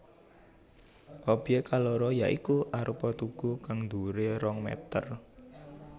Obyèk kaloro ya iku arupa tugu kang dhuwuré rong mèter